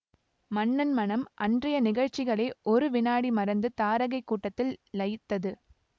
மன்னன் மனம் அன்றைய நிகழ்ச்சிகளை ஒரு விநாடி மறந்து தாரகைக் கூட்டத்தில் லயித்தது